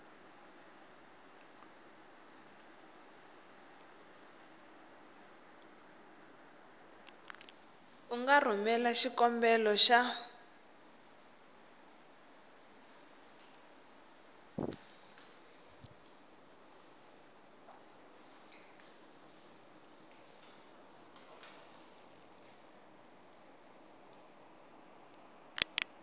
u nga rhumela xikombelo xa